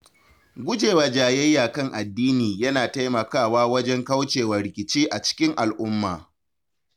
Guje wa jayayya kan addini yana taimakawa wajen kauce wa rikici a cikin al’umma.